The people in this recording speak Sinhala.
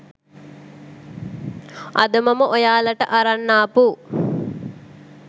අද මම ඔයාලට අරන් ආපු